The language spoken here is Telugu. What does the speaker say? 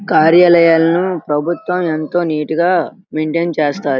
కార్యాలయాలు ప్రభుత్యం ఎంతో నీట్ గా మైంటైన్ చేస్తారు.